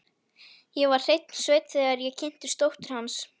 Ég var hreinn sveinn, þegar ég kynntist dóttur hans.